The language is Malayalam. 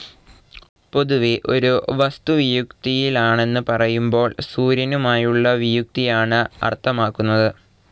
പൊതുവേ ഒരു വസ്തു വിയുതിയിലാണെന്ന് പറയുമ്പോൾ സൂര്യനുമായുള്ള വിയുതിയാണ് അർത്ഥമാക്കുന്നത്.